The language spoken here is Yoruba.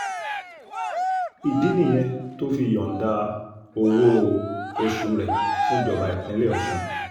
ìdí nìyẹn tó fi yọ̀ǹda owó-oṣù rẹ̀ fún jọba ìpínlẹ̀ ọ̀sùn